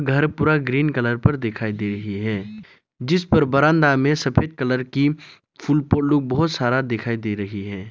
घर पूरा green colour पर दिखाई दे रही है जिस पर बरांडा में सफेद कलर की फूल फूलों बहुत सारा दिखाई दे रही है।